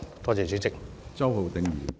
多謝主席。